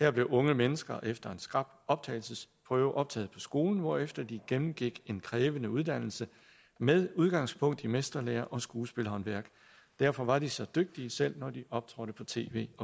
her blev unge mennesker efter en skrap optagelsesprøve optaget på skolen hvorefter de gennemgik en krævende uddannelse med udgangspunkt i mesterlære og skuespilhåndværk derfor var de så dygtige selv når de optrådte på tv og